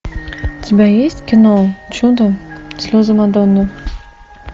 у тебя есть кино чудо слезы мадонны